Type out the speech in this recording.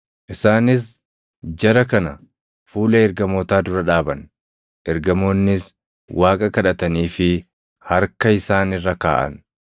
Isaanis jara kana fuula ergamootaa dura dhaaban; ergamoonnis Waaqa kadhataniifii harka isaan irra kaaʼan.